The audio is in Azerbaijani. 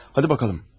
Hadi baxalım.